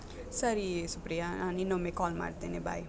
ಸರಿ ಸುಪ್ರಿಯಾ, ನಾನ್ ಇನ್ನೊಮ್ಮೆ call ಮಾಡ್ತೇನೆ bye .